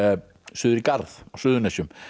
suður í Garð á Suðurnesjum